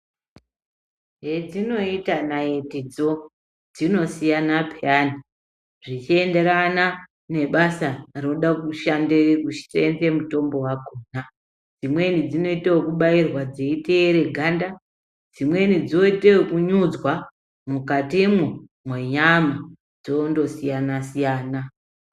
Zvetinoita naiti dzoo zvinosiyana peyani zvichienderana nebasa rode kushande mutombo wakona, imweni dzinoite yekubairwa dzeiteere ganda, dzimwe dzoite yekunyudzwa mukati mwoo mwenyama dzondosiyana siyana.